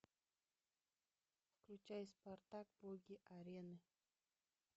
включай спартак боги арены